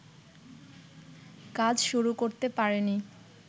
কাজ শুরু করতে পারেনি